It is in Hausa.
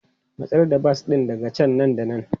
Matsar da bas ɗin daga can nan da nan!